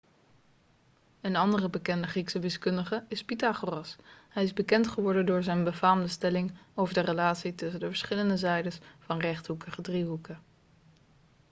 een andere bekende griekse wiskundige is pythagoras hij is bekend geworden door zijn befaamde stelling over de relatie tussen de verschillende zijdes van rechthoekige driehoeken